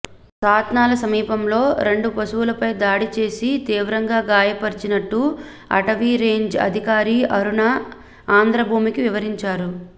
సాత్నాల సమీపంలో రెండు పశువులపై దాడి చేసి తీవ్రంగా గాయపర్చినట్టు అటవీ రేంజ్ అధికారి అరుణ ఆంధ్రభూమికి వివరించారు